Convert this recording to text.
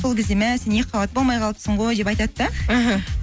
сол кезде мә сен екіқабат болмай қалыпсың ғой деп айтады да іхі